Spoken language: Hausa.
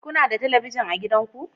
Kuna da talabijin a gidanku?